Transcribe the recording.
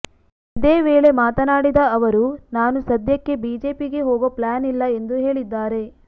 ಇದೇ ವೇಳೆ ಮಾತನಾಡಿದ ಅವರು ನಾನು ಸದ್ಯಕ್ಕೆ ಬಿಜೆಪಿಗೆ ಹೋಗೋ ಪ್ಲಾನ್ ಇಲ್ಲ ಎಂದು ಹೇಳಿದ್ದಾರೆ